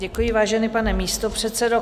Děkuji, vážený pane místopředsedo.